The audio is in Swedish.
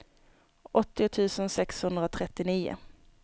åttio tusen sexhundratrettionio